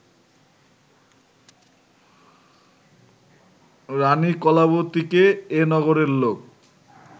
রাণী কলাবতীকে এ নগরের লোক